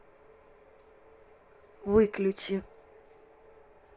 выключи